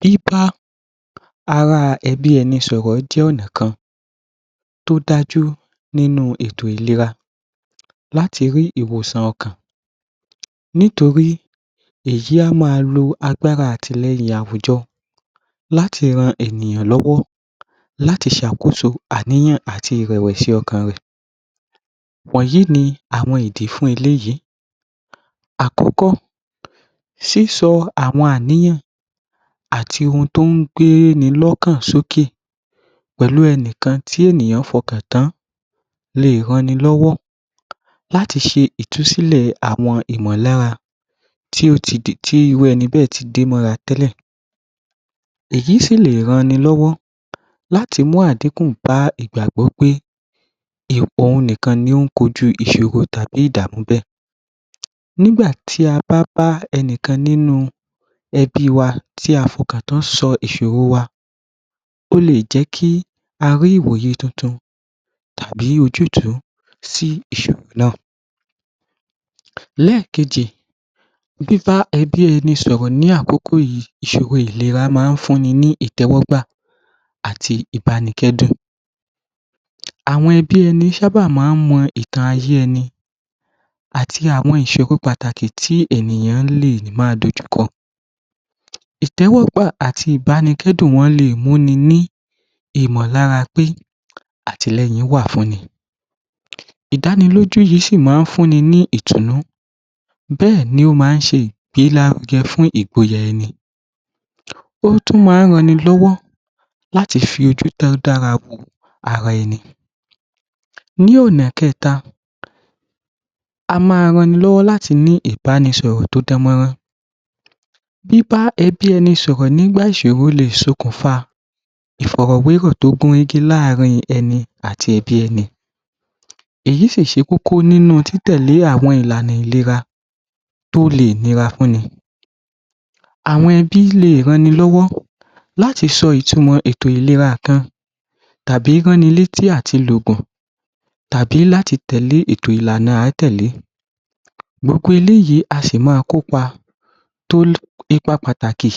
Biba ará ẹbí ẹni sọọrọ̀ jẹ́ ọ̀nà kan tó dájú nínú etò ìlera láti rí ìwòṣàn ọkàn nítorí èyí a máa lo agbara àtileyin awujo lahti ran ènìyà lowo láti sakoso àniyan ati ireswesi okan re. wonyi ni àwọñ idi fun eleyi. akoko siso awon aniyan ati ohun ti o n gbeni lokan soke pelu enikan ti eniyan fokan tan le ranni lowo lati se itusile awon imolara ti o ti ti iru eni bee ti de mora tele. eyi si le ran ni lowo lati mu adikun ba igbagbo pe oun nikan ni o n koju isoro tabi idaaamu bee. nigba ti aba ba enikan ninu ebi wa ti a fokan tan so isoro wa o le je ki a ri iwoye tuntun tabi ojutuu si isoro na. leekeji biba ebi eni soro ni akoko yii isoro ilera maa n funni ni itewogba ati ibanikedun. Awon ebi eni n saa ba maa n mo itan aye eni ati awon isoro pataki ti eniyan le maa dojuko. itewogba ati ibanikedun le muni ni imolara pe atileyin wa funni. idaniloju si maa n funini ni itunnu bee ni o maa n se igbelaruge fun igboya eni. o tun maan rananni lowo lati fi oju to dara wo ara eni. ni ona keta a maa rannni lowo lati ni ibanisoro to danmoran. biba ebi eni soro ni nigba isoro le sokunfa iforowero to gunrege laarin eni ati ebi eni. eyi se koko ninu tite le awon ilana ilera to le nira funni. awon ebi le ranni lowo lati so itumo kan eto ilera kan abi ran ni leti ati logun tabi lati tele eto ilana a a tele. gbogbo eleyii a si maa kopa to le ipa pataki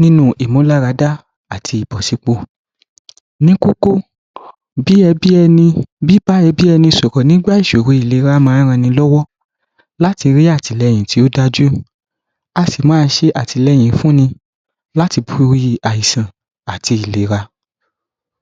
ninu imularada ati ibosipo. ni koko bi ebi eni biba ebi eni soro nigba isoro ilera maa n ranni lowo lati ri atileyin ti o daju, a si maa se atileyin finni lati bori aisan ati ilera.